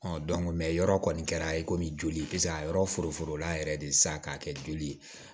yɔrɔ kɔni kɛra e komi joli peseke a yɔrɔ foro la yɛrɛ de sisan k'a kɛ joli ye